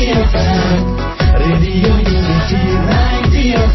radio unity ninety F